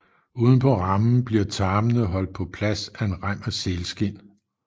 Uden på rammen bliver tarmene holdt på plads af en rem af sælskind